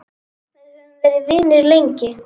Við höfum verið vinir lengi.